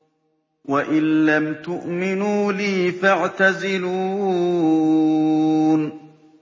وَإِن لَّمْ تُؤْمِنُوا لِي فَاعْتَزِلُونِ